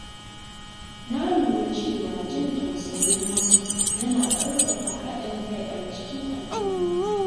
Na lura cewa jin tausayin wasu yana ƙarfafa haɗin kai a cikin al’umma.